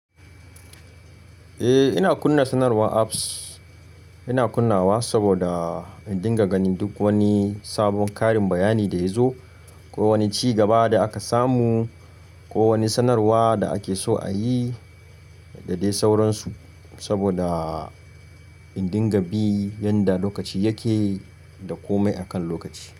Eh ina kunna sanarwar apps. Ina kunnawa saboda in dinga ganin duk wani sabon karin bayani da ya zo ko wani cigaba da aka samu ko wani sanarwa da ake so a yi da dai sauransu. Saboda in dinga bi yanda lokaci yake da komai akan lokaci.